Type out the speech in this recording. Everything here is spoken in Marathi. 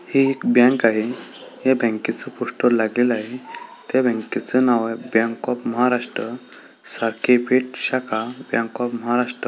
हे एक बँक आहे ह्या बँके च पोस्टर लागलेलं आहे त्या बँके च नाव आहे बँक ऑफ महाराष्ट्र साखर पेठ शाखा बँक ऑफ महाराष्ट्र.